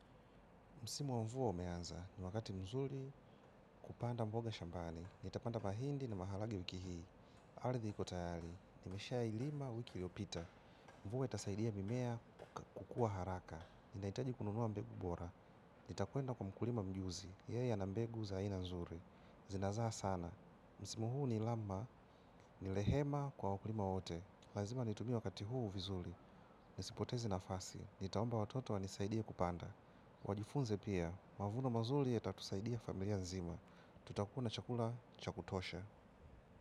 Msimu wa mvua umeanza, ni wakati mzuri kupanda mboga shambani. Nitapanda mahindi ni maharagwe wiki hii. Ardhi iko tayari, nimeshailima wiki iliopita. Mvua inasaidia mimea kukua haraka. Nahitaji kununuwa mbegu bora. Nitakwenda kwa mkulima mjuzi, yeye ana mbegu za aina nzuri. Zinazaa sana. Msimu huu ni ilamba, nilehema kwa wakulima wote. Lazima nitumie wakati huu vizuli. Nisipoteze na fasi. Nitaomba watoto wanisaidie kupanda. Wajifunze pia, mavuno mazuli ya tatusaidia familia nzima. Tutakuwa na chakula cha kutosha.